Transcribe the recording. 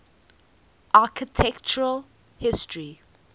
architectural history